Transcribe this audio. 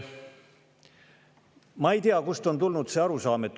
Ma ei tea, kust on tulnud selline arusaam.